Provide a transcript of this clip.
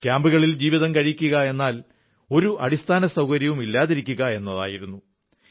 ക്യാമ്പുകളിൽ ജീവിതം കഴിക്കുകയെന്നാൽ ഒരു അടിസ്ഥാന സൌകര്യവും ഇല്ലാതിരിക്കുക എന്നായിരുന്നു